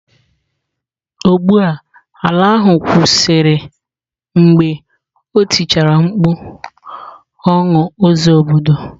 Ụgbọ ala ahụ kwụsịrị mgbe o tichara mkpu "" ọnụ ụzọ obodo "."